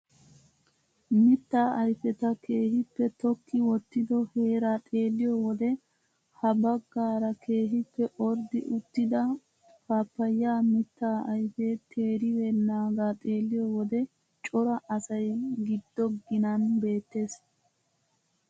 Mittaa ayfeta keehippe tokki wottido heeraa xeelliyoo wode ha baggaara keehippe orddi uttida paappayaa mittaa ayfee teeribennaaga xeelliyo wode cora asay giddo ginan beettees.